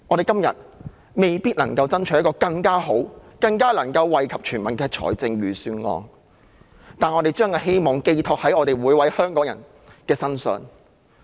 今天，我們未必能夠爭取一份更好、更能夠惠及全民的預算案，但我們把希望寄託在每位香港人身上。